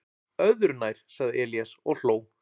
"""Öðru nær, sagði Elías og hló."""